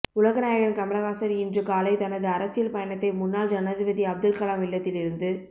உலகநாயகன் கமலஹாசன் இன்று காலை தனது அரசியல் பயணத்தை முன்னால் ஜனாதிபதி அப்துல்கலாம் இல்லத்தில் இருந்து